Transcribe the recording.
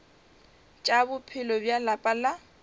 tša bophelo bja lapa la